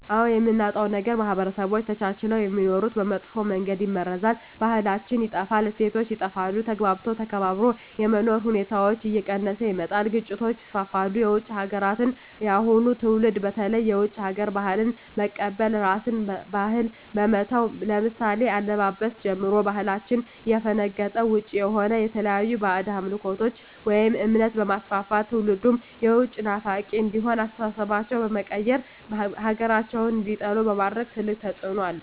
አዎ የምናጣው ነገር ማህበረሰቦች ተቻችለው የሚኖሩትን በመጥፎ መንገድ ይመርዛል , ባህላችን ይጠፋል, እሴቶች ይጠፋሉ, ተግባብቶ ተከባብሮ የመኖር ሁኔታዎች እየቀነሰ ይመጣል ግጭቶች ይስፋፋሉ። የውጭ ሀገራትን የአሁኑ ትውልድ በተለይ የውጭ ሀገር ባህልን በመቀበል የራስን ባህል በመተው ለምሳሌ ከአለባበስ ጀምሮ ከባህላችን ያፈነገጠ ውጭ የሆነ የተለያዩ ባህድ አምልኮቶችን ወይም እምነት በማስፋፋት ትውልድም የውጭ ናፋቂ እንዲሆኑ አስተሳሰባቸው በመቀየር ሀገራቸውን እንዲጠሉ በማድረግ ትልቅ ተፅዕኖ አለው።